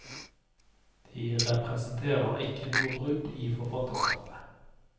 De representerer ikke noe brudd i forfatterskapet.